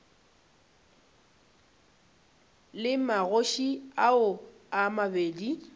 le magoši ao a mabedi